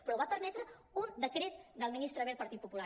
però ho va permetre un decret del ministre wert partit popular